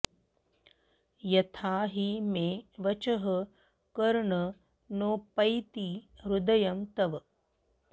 यथा हि मे वचः कर्ण नोपैति हृदयं तव